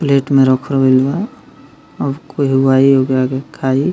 Plate में रखल गईल बा और केहू आई ओकरा के खाई।